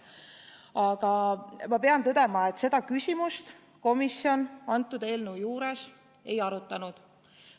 Aga ma pean tõdema, et seda küsimust komisjon antud eelnõu juures ei arutanud.